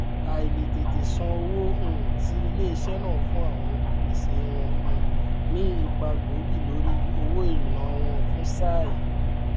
àìlètètè sàn owó um ti iléesẹ náà fún àwọn olùpèsè wọn um ní ipa gbóògì lórí owó ìríná wọn fún sáà yi